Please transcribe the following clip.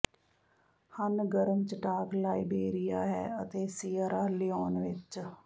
ਹਨ ਗਰਮ ਚਟਾਕ ਲਾਇਬੇਰੀਆ ਹੈ ਅਤੇ ਸੀਅਰਾ ਲਿਓਨ ਵਿਚ